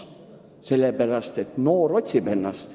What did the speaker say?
Noor inimene otsib ennast.